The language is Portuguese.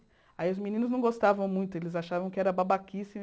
Aí os meninos não gostavam muito, eles achavam que era babaquíce.